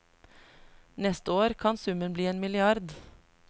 Neste år kan summen bli en milliard.